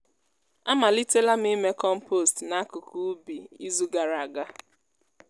a malitela m ime kọmpost n’akụkụ ubi izu gara aga.